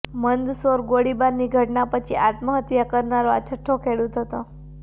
મંદસૌર ગોળીબારની ઘટના પછી આત્મહત્યા કરનારો આ છઠ્ઠો ખેડૂત હતો